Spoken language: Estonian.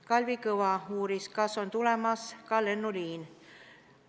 Kalvi Kõva uuris, kas on tulemas ka lennuliin.